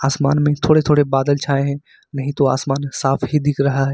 आसमान में थोड़े थोड़े बादल छाए हैं नहीं तो आसमान साफ ही दिख रहा है।